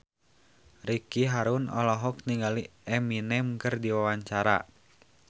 Ricky Harun olohok ningali Eminem keur diwawancara